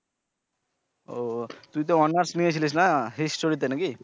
ও তুই তো honor's নিয়েছিলিস না history তে নাকি?